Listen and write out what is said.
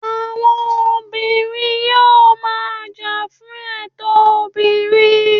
àwọn obìnrin yíò ma jà fún ètò obinrin